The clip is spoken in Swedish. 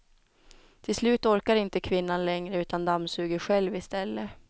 Till slut orkar inte kvinnan längre utan dammsuger själv istället.